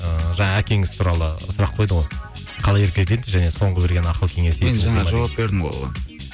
ыыы жаңа әкеңіз туралы сұрақ қойды ғой қалай еркелетеді және соңғы берген ақыл кеңесі енді жаңа жауап бердім ғой оған